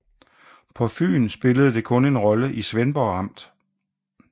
På Fyn spillede det kun en rolle i Svendborg Amt